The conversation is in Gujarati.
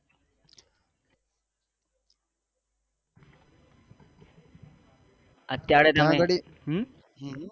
અત્યારે ગડી